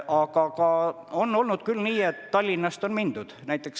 Aga on olnud ka nii, et Tallinnast on sinna tööle mindud.